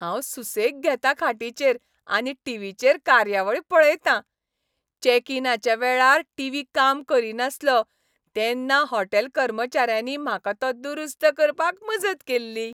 हांव सुसेग घेतां खाटीचेर आनी टिवीचेर कार्यावळी पळयतां. चेक इनाच्या वेळार टिवी काम करीनासलो तेन्ना हॉटेल कर्मचाऱ्यांनी म्हाका तो दुरुस्त करपाक मजत केल्ली.